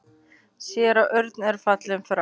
Séra Örn er fallinn frá.